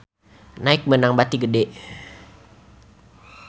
Nike meunang bati gede